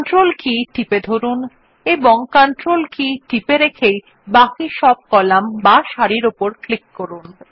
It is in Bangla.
কন্ট্রোল কী টিপে ধরুন এবং কন্ট্রোল কীটি টিপে রেখেই বাকি সব কলাম বা সারির উপর ক্লিক করুন